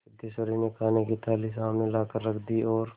सिद्धेश्वरी ने खाने की थाली सामने लाकर रख दी और